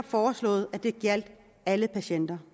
foreslået at det gjaldt alle patienter